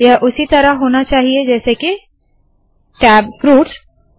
यह उसी तरह होना चाहिए जैसे के - टैब फ्रूट्स